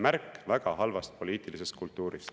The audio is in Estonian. … märk väga halvast poliitilisest kultuurist.